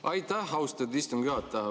Aitäh, austatud istungi juhataja!